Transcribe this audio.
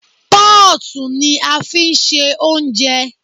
Pọ́ọ̀tù ni a fi ń ṣe ounjẹ